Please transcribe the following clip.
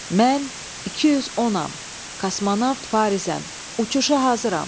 Mən 210-am, kosmonavt Farizəm, uçuşa hazıram.